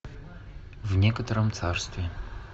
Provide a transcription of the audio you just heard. в некотором царстве